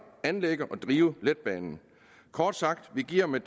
anlægge og drive letbanen kort sagt vi giver med